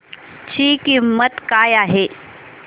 ची किंमत काय आहे